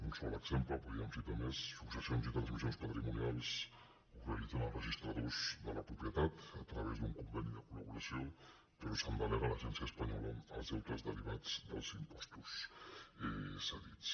un sol exemple podríem citar ne més successions i transmissions patrimonials que ho realitzen els registradors de la propietat a través d’un conveni de colcia espanyola els deutes derivats dels impostos cedits